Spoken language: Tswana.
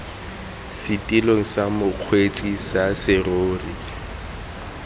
setilong sa mokgweetsi sa serori